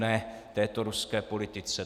"NE" této ruské politice.